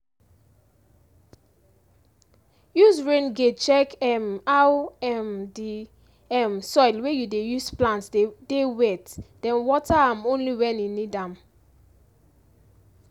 use rain gauge check um how um di um soil wey you dey use plant dey wet den water am only when e need am